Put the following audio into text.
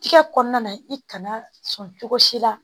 Tigɛ kɔnɔna na i kana sɔn cogo si la